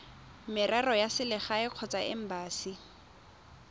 merero ya selegae kgotsa embasi